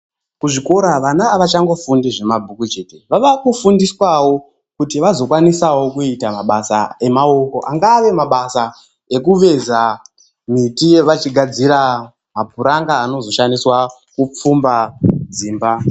Kuzvikora vana havachangofundi zvamabhuku chete. Vava kufundawo kuti vazokwanisawo kuita mabasa amaoko, angave mabasa ekuveza miti vachigadzira mapuranga aoshandiswa kupfumba dzimba.